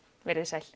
verið þið sæl